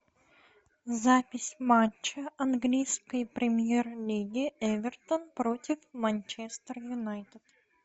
запись матча английской премьер лиги эвертон против манчестер юнайтед